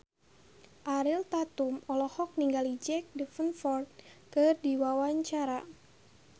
Ariel Tatum olohok ningali Jack Davenport keur diwawancara